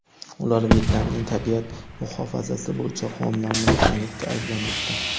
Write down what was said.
Ular Vyetnamning tabiat muhofazasi bo‘yicha qonunlarini buzganlikda ayblanmoqda.